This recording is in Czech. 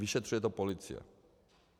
Vyšetřuje to policie.